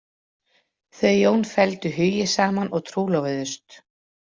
Þau Jón felldu hugi saman og trúlofuðust.